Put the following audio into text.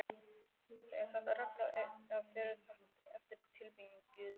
Er þetta regla eða fer þetta eftir tilfinningu þeirra?